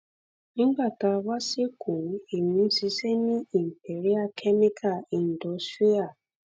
nígbà tá a wá sékòó èmi ń ṣiṣẹ ní imperial chemical industrial